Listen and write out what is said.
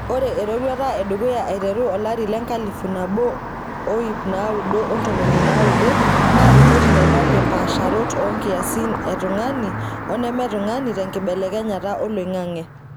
Ore eroruata edukuya aiteru olari le 1990 naa ripoti naibalie mpaasharot oo nkiasin e tungani oneme ne tung'ni tenkilebekenyata oling'ang'e.